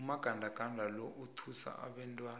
umagandaganda lo uthusa abantwana